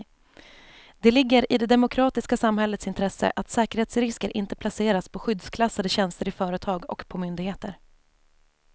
Det ligger i det demokratiska samhällets intresse att säkerhetsrisker inte placeras på skyddsklassade tjänster i företag och på myndigheter.